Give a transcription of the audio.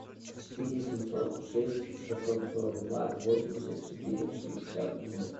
четыре семьсот шесть шестьсот сорок два восемьдесят четыре шестьдесят ноль